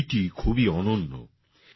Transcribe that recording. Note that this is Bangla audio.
এই বইটি খুবই অনন্য